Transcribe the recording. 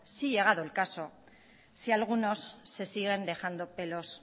si llegado el caso si algunos se siguen dejando pelos